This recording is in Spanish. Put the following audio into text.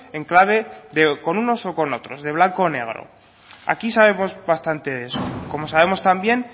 en clave de con unos o con otros de blanco o negro aquí sabemos bastante de eso como sabemos también